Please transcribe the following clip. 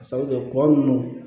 Ka sabu kɛ kɔ nunnu